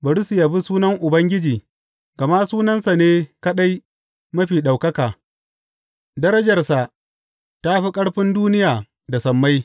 Bari su yabi sunan Ubangiji, gama sunansa ne kaɗai mafi ɗaukaka; darajarsa ta fi ƙarfin duniya da sammai.